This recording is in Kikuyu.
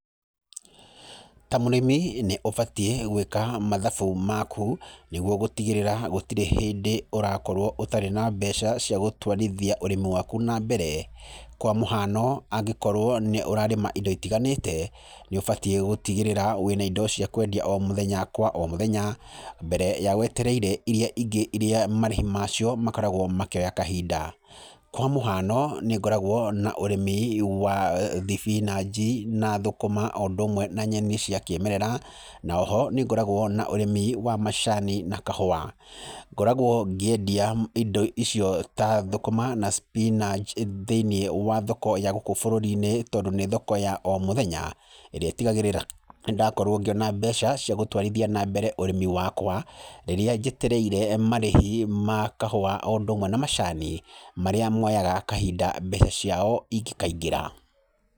Ta mũrĩmi nĩũbatie gwĩka mathabu maku nĩguo gũtigĩrĩra gũtirĩ hĩndĩ ũrakorwo ũtarĩ na mbeca cia gũtwarithia ũrĩmi waku na mbere. Kwa mũhano angĩkorwo nĩũrarĩma indo itiganĩte nĩ ũbatiĩ gũtigĩrĩra wĩna indo cia kwendia o mũthenya kwa mũthenya mbere ya wetereire iria ingĩ iria marĩhi macio makoragwo makĩoya kahinda. Kwa mũhiano nĩngoragwo na ũrĩmi wa thibinaji na thũkũma na ũndũ ũmwe na nyeni cia kĩmerera na oho nĩngoragwo na ũrĩmi wa macani na kahũa. Ngoragwo ngĩendia indo ta thũkũma na spinaji thĩinĩ wa thoko ya gũkũ bũrũrinĩ tondũ nĩ thoko ya o mũthenya, ĩrĩa ĩtigagĩrĩra nĩndakorwo ngĩona mbeca cia gũtwarithia na mbere ũrĩmi wakwa rĩrĩa njetereire marĩhi ma kahũa o ũndũmwe na macani marĩa moyaga kahinda mbeca ciao ingĩkaingĩra.